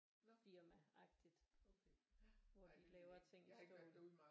Firma agtigt hvor at de laver ting i stål